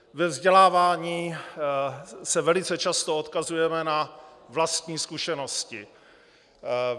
Ve vzdělávání se velice často odkazujeme na vlastní zkušenosti.